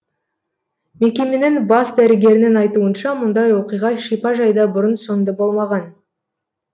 мекеменің бас дәрігерінің айтуынша мұндай оқиға шипажайда бұрын соңды болмаған